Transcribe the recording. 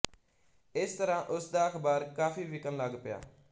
ਇਸ ਤਰ੍ਹਾਂ ਉਸ ਦਾ ਅਖ਼ਬਾਰ ਕਾਫ਼ੀ ਵਿਕਣ ਲੱਗ ਪਿਆ